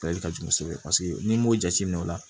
ka jugu kosɛbɛ n'i m'o jateminɛ o la